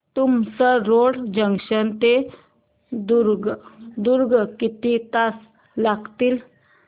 Tumsar road junction ते दुर्ग किती तास लागतील